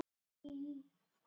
Hver skoraði markið?